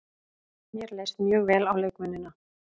Mér leist mjög vel á leikmennina.